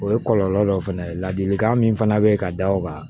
O ye kɔlɔlɔ dɔ fana ye ladilikan min fana bɛ ka da o kan